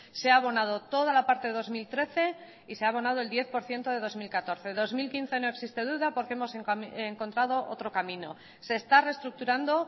se ha abonado toda la parte de dos mil trece y se ha abonado el diez por ciento de bi mila hamalau dos mil quince no existe duda porque hemos encontrado otro camino se está reestructurando